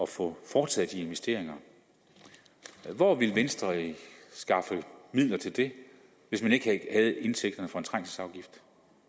få foretaget de investeringer men hvor vil venstre skaffe midler til det hvis man ikke havde indtægterne fra en trængselsafgift